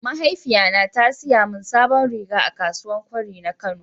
mahaifiya na ta siya min sabon riga a kasuwan kwari na kano.